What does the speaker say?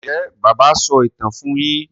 Njé bàbá so ìtàn fún yín?